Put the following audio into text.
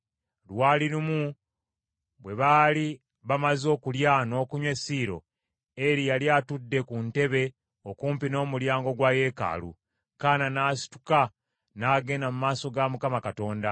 Lwali lumu bwe baali bamaze okulya n’okunywa e Siiro, Eri yali atudde ku ntebe okumpi n’omulyango gwa yeekaalu , Kaana n’asituka n’agenda mu maaso ga Mukama Katonda.